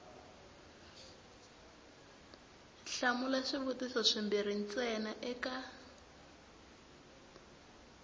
hlamula swivutiso swimbirhi ntsena eka